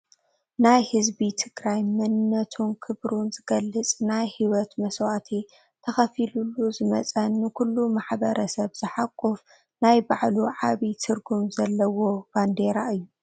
ናይ ህዝቢ ትግራይ መንነቱን ክብሩን ዝገልፅ ናይ ሂወት መስዋእቲ ተኸፊሉሉ ዝመፀ ንኹሉ ማህበረሰብ ዝሓቁፍ ናይ ባዕሉ ዓብይ ትርጉም ዘለዋ ባንዴራ እዩ።